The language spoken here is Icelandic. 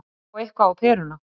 Að fá eitthvað á peruna